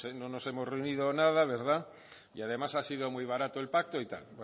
no nos hemos reunido nada verdad y además ha sido muy barato el pacto y tal